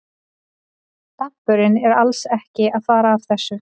Dampurinn er alls ekki að fara af þessu.